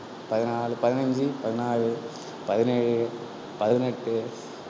பதினான்கு, பதினைந்து, பதினாறு, பதினேழு, பதினெட்டு,